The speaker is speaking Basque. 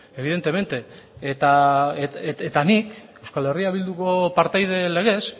eta nik euskal herria bilduko partaide legez